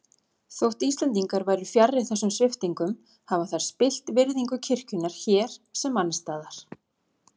Þótt Íslendingar væru fjarri þessum sviptingum hafa þær spillt virðingu kirkjunnar hér sem annars staðar.